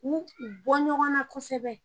U bɔ ɲɔgɔn na kosɛbɛ